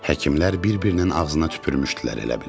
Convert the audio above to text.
Həkimlər bir-birinin ağzına tüpürmüşdülər elə bil.